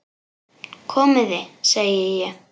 Komiði, segi ég!